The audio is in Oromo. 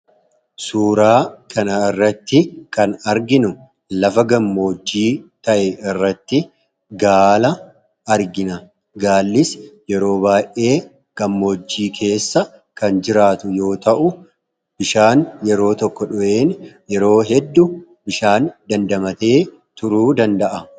Suuraa kana irratti kan arginu lafa gammoojii ta'e irratti gaala argina. Gaallis yeroo baay'ee gammoojii keessa kan jiraatu yoo ta'u bishaan yeroo tokko dhugeen yeroo hedduu bishaan dandamatee turuu danda'a.